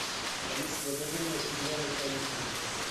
алиса закажи мне зеленый чай липтон